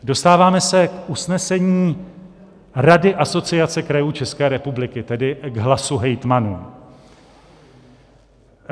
Dostáváme se k usnesení Rady Asociace krajů České republiky, tedy k hlasu hejtmanů.